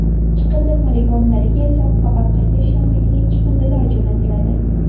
Chiqindi poligonlariga esa faqat qayta ishlanmaydigan chiqindilar jo‘natiladi.